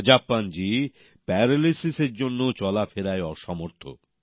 রাজাপ্পানজি paralysis এর জন্যে চলাফেরায় অসমর্থ